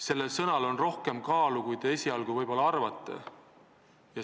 Sellel sõnal on rohkem kaalu, kui te esialgu võib-olla arvate.